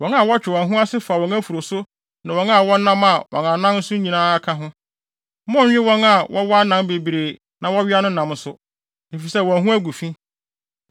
Wɔn a wɔtwe wɔn ho ase fa wɔn afuru so ne wɔn a wɔnam wɔn anan anan so nyinaa ka ho. Monnnwe wɔn a wɔwɔ anan bebree na wɔwea no nam nso, efisɛ wɔn ho agu fi.